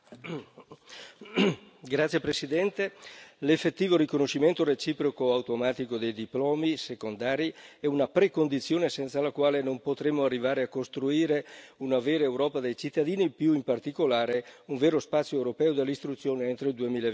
Signor Presidente, onorevoli colleghi, l'effettivo riconoscimento reciproco automatico dei diplomi secondari è una precondizione senza la quale non potremo arrivare a costruire una vera Europa dei cittadini e, più in particolare, un vero spazio europeo dell'istruzione entro il